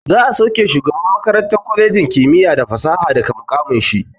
Za'a sauke shugaban makarantar kwalejin kimiyya da fasaha daga muƙamin shi.